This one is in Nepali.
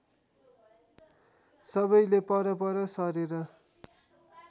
सबैले परपर सरेर